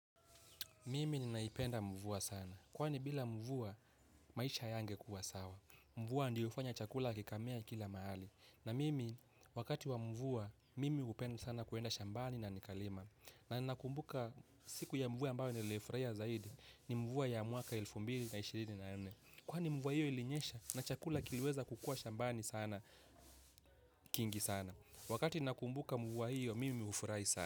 Mimi ninaipenda mvua sana. Kwani bila mvua maisha hayangekuwa sawa. Mvua ndiyo hufanya chakula kikamea kila mahali. Na mimi wakati wa mvua, mimi hupenda sana kuenda shambani na nikalima. Na ninakumbuka siku ya mvua ambayo niliyoifurahia zaidi ni mvua ya mwaka elfu mbili na ishirini na nne. Kwani mvua hiyo ilinyesha na chakula kiliweza kukua shambani sana, kingi sana. Wakati ninakumbuka mvua hiyo, mimi hufurahi sana.